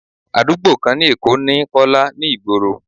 Àdúgbò kan ni Èkó ni Kọ́lá ni ìgboro.